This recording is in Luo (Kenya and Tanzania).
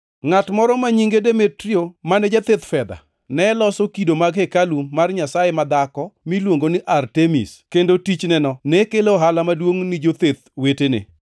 Ngʼat moro ma nyinge Demetrio, mane jathedh fedha, ne loso kido mag hekalu mar nyasaye madhako miluongo ni Artemis, kendo tichneno ne kelo ohala maduongʼ ni jotheth wetene.